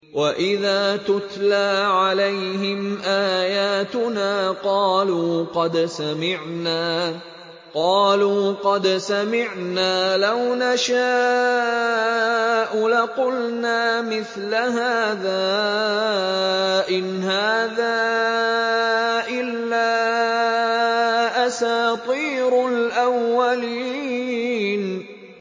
وَإِذَا تُتْلَىٰ عَلَيْهِمْ آيَاتُنَا قَالُوا قَدْ سَمِعْنَا لَوْ نَشَاءُ لَقُلْنَا مِثْلَ هَٰذَا ۙ إِنْ هَٰذَا إِلَّا أَسَاطِيرُ الْأَوَّلِينَ